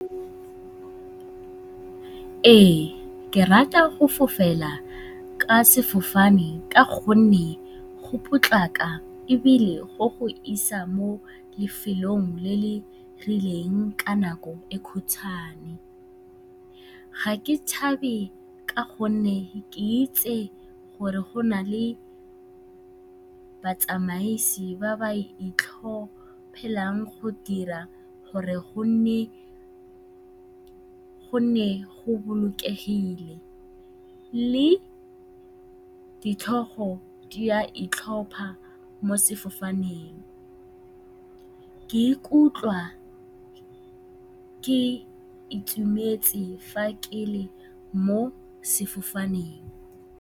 Ee, ke rata go fofa ka sefofane ka gonne go potlako ebile go go isa mo lefelong le le rileng ka nako e e khutswhane. Ga ke tshabe ka gonne ke itse gore go na le batsamaisi ba ba itlhophelang go dira gore go nne go bolokegile. Le ditlhogo di a itlhopha mo sefofaneng. Ke ikutlwa ke itumetse fa ke le mo sefofaneng.